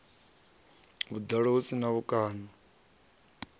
vhuḓalo hu si na mikano